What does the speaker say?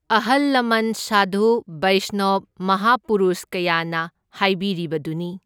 ꯑꯍꯜ ꯂꯃꯟ ꯁꯥꯗꯨ ꯕꯩꯁꯅꯣꯞ ꯃꯍꯥꯄꯨꯔꯨꯁ ꯀꯌꯥꯅ ꯍꯥꯏꯕꯤꯔꯤꯕꯗꯨꯅꯤ꯫